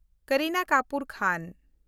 ᱠᱟᱨᱤᱱᱟ ᱠᱟᱯᱩᱨ ᱠᱷᱟᱱ